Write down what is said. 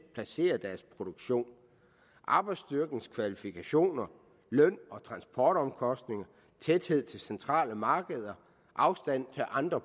placere deres produktion arbejdsstyrkens kvalifikationer løn og transportomkostninger tæthed til centrale markeder afstand til andre